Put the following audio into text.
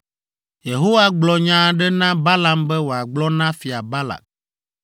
Yehowa gblɔ nya aɖe na Balaam be wòagblɔ na Fia Balak.